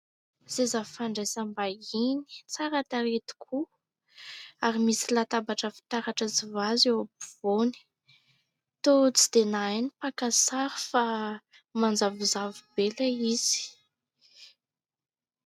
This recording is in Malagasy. Seza fandraisam-bahiny tsara tarehy tokoa ary misy latabatra fitaratra sy "vase" eo afovoany toa tsy dia nahay ny mpaka sary fa manjavozavo be ilay izy.